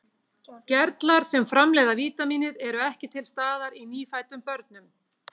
Gerlar sem framleiða vítamínið eru ekki til staðar í nýfæddum börnum.